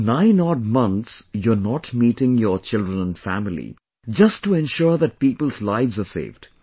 For nine odd months, you are not meeting your children and family, just to ensure that people's lives are saved